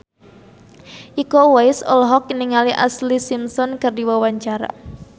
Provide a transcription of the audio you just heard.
Iko Uwais olohok ningali Ashlee Simpson keur diwawancara